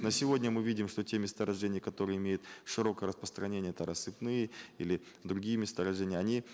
на сегодня мы видим что те месторождения которые имеют широкое распространение это рассыпные или другие месторождения они